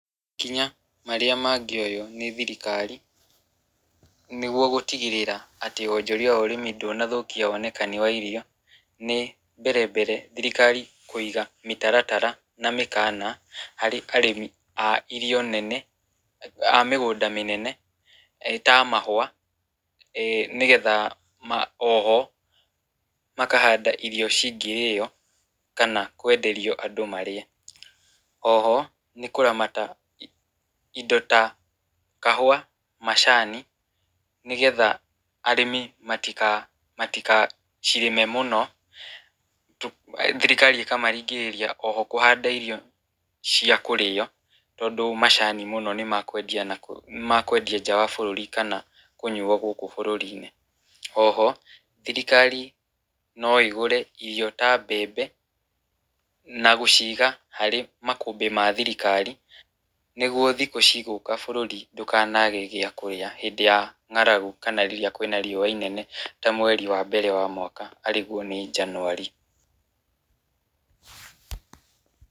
Makinya marĩa mangĩoywo nĩ thirikari, nĩgwo gũtigĩrĩra atĩ wonjoria wa ũrĩmi ndũnathukia wonekani wa irio, nĩ mbere mbere thirikari kũiga mĩtaratara na mĩkana, harĩ arĩmi a irio nene a mĩgũnda mĩnene ta mahua , nĩgetha oho makahanda irio cingĩrĩo , kana kwenderio andũ marĩe, oho nĩkũramata indo ta kahua macani, nĩgetha arĩmi matika matikacirĩme mũno, thirikari ĩkamaringĩrĩria oho kũhanda irio cia kũrĩa tondũ macani mũno nĩmakwendia na kwendia nja wa bũrũri kana kũnyuo gũkũ bũrũri-inĩ , oho thirikari no ĩgũre irio ta mbembe , na gũciga harĩ makũmbĩ ma thirikari nĩgwo thikũ cigũka bũrũri ndũkage gĩakũrĩa hĩndĩ ya ng´aragu kana rĩrĩa kwĩna rĩũa rĩnene , ta mweri wa mbere wa mwaka arĩgwo nĩ Njanuarĩ.